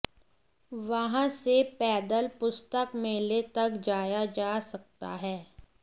वहां से पैदल पुस्तक मेले तक जाया जा सकता है